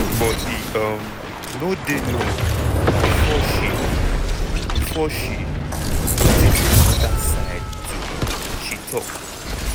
but e um no dey long before she before she notice anoda side to am she tok.